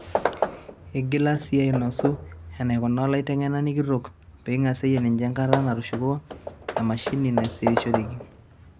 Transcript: Igila sii ainosu enaikuna olaiteng'enani kitok peing'asieyie ninye enkata natushuko emashine nasirishoreki.